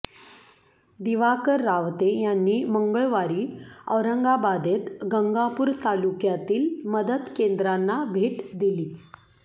दिवाकर रावते यांनी मंगळवारी औरंगाबादेत गंगापूर तालुक्यातील मदत केंद्रांना भेट दिली